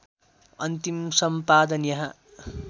अन्तिम सम्पादन यहाँ